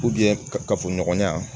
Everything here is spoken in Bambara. kafoɲɔgɔnya